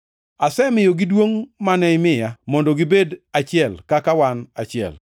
Asemiyogi duongʼ mane imiya, mondo gibed achiel kaka wan achiel,